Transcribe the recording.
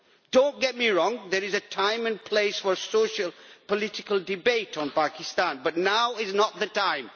Do not get me wrong there is a time and place for socio political debate on Pakistan, but now is not the time.